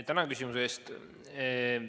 Tänan küsimuse eest!